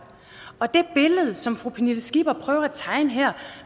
og til det billede som fru pernille skipper prøver at tegne her